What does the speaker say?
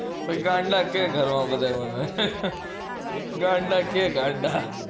પછી ગાંડા કે ઘર વાળા બધા મને ગાંડા કે ગાંડા